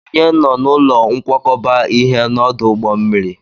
Ònye nọ n'ụlọ nkwakọba ihe n'ọdụ ụgbọ mmiri?